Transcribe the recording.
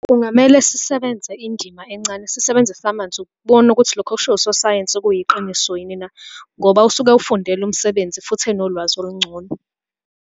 Kungamele sisebenze indima encane, sisebenzise amanzi ukubona ukuthi lokho okushiwo usosayensi kuyiqiniso yini na, ngoba usuke ewufundele umsebenzi, futhi enolwazi olungcono.